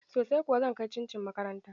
Sosai kuwa, zan kai cin cin makaranta